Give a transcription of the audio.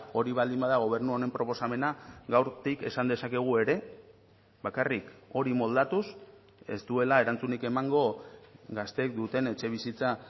hori baldin bada gobernu honen proposamena gaurtik esan dezakegu ere bakarrik hori moldatuz ez duela erantzunik emango gazteek duten etxebizitza